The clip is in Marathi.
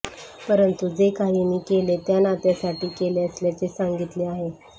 परंतु जे काही मी केले ते नात्यासाठी केले असल्याचे सांगितले आहे